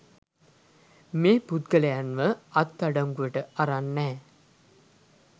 මේ පුද්ගලයන්ව අත්අඩංගුවට අරන් නැහැ